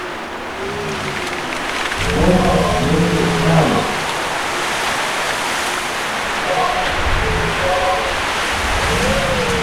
космос между нами